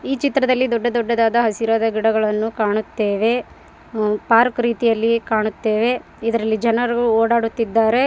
ಈ ಚಿತ್ರದಲ್ಲಿ ದೊಡ್ಡ ದೊಡ್ಡದಾದ ಹಸಿರು ಗಿಡಗಳನ್ನು ಕಾಣುತ್ತೇವೆ ಪರ್ರ್ಕ್ ರೀತಿಯಲ್ಲಿ ಕಾಣುತ್ತೇವೆ ಇದರಲ್ಲಿ ಜನರು ಒಡಾಡುತಿದ್ದರೆ.